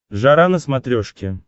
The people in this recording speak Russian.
жара на смотрешке